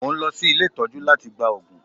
Mo ń lọ sí ilé ìtọ́jú láti gba òògùn